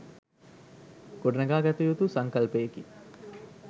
ගොඩනඟා ගත යූතු සංකල්පයකි.